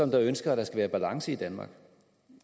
der ønsker at der skal være balance i danmark